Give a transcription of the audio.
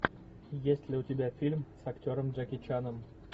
есть ли у тебя фильм с актером джеки чаном